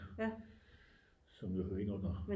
Som jo hører ind under